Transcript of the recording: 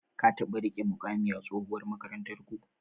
Ka taɓa riƙe muƙami a tsohuwar makarantarku?